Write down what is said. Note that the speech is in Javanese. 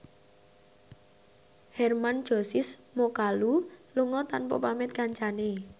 Hermann Josis Mokalu lunga tanpa pamit kancane